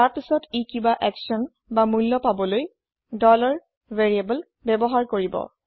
তাৰ পাছত ই কিবা একচ্যন বা মূল্য পাবলৈ variable ব্যৱহাৰ কৰিব